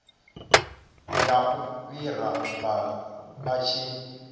ya u ifara vhu tshi